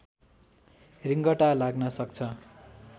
रिङ्गटा लाग्न सक्छ